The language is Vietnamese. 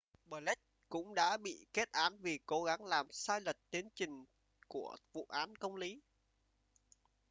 blake cũng đã bị kết án vì cố gắng làm sai lệch tiến trình của vụ án công lý